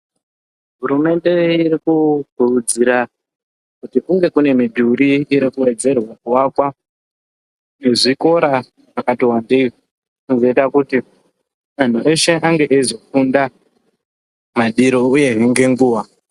Hurumende iri kukurudzira, kuti kunge kune midhuri inowedzerwa kuakwa nezvikora zvakati wandei, zvizoita kuti ,anhu eshe ange eizofunda madiro uyezve ngenguwa.